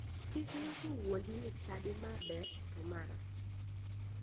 Kik ng'ato wuondi ni chadi ma ber to ma rach